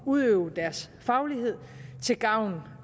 udøve deres faglighed til gavn